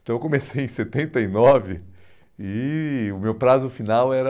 Então eu comecei em setenta e nove e o meu prazo final era